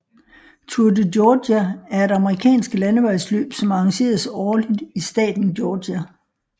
Tour de Georgia er et amerikansk landevejsløb som arrangeres årligt i staten Georgia